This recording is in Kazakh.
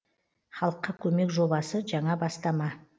халыққа көмек жобасы жаңа бастама